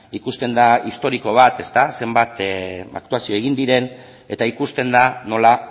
ikusten da historiko bat zenbat aktuazio egin diren eta ikusten da nola